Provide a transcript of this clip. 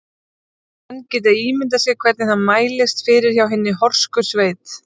Menn geta ímyndað sér hvernig það mælist fyrir hjá hinni horsku sveit.